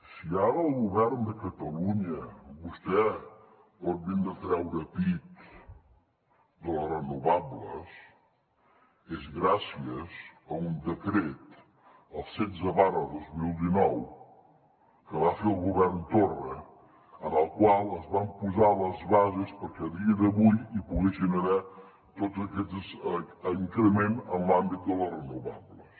si ara el govern de catalunya vostè pot vindre a treure pit de les renovables és gràcies a un decret el setze dos mil dinou que va fer el govern torra en el qual es van posar les bases perquè a dia d’avui hi poguessin haver tots aquests increments en l’àmbit de les renovables